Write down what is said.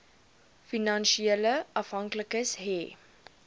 finansiële afhanklikes hê